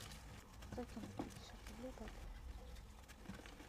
закинуть пятьдесят рублей папе